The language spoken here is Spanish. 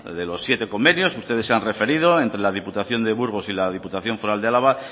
de los siete convenios ustedes se han referido entre la diputación de burgos y la diputación foral de álava